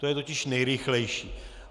To je totiž nejrychlejší.